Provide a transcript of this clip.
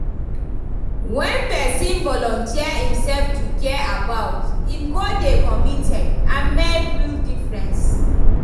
When pesin volunteer imself to care about, em go dey committed and make real difference.